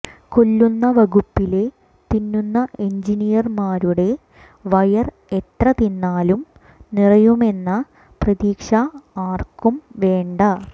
കൊല്ലുന്ന വകുപ്പിലെ തിന്നുന്ന എഞ്ചിനീയർമാരുടെ വയർ എത്ര തിന്നാലും നിറയുമെന്ന പ്രതീക്ഷ ആർക്കും വേണ്ട